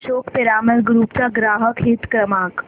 Ashok Piramal group चा ग्राहक हित क्रमांक